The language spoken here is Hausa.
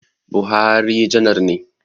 Buhari janar ne